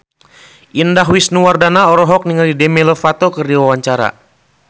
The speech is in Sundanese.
Indah Wisnuwardana olohok ningali Demi Lovato keur diwawancara